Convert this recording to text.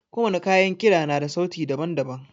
Ko wani kayan kida na da sauti daban-daban.